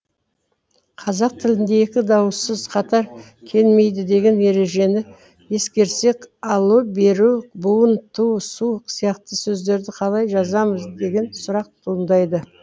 қазақ тілінде екі дауыссыз қатар келмейді деген ережені ескерсек алу беру буын ту су сияқты сөздерді қалай жазамыз деген сұрақ туындайды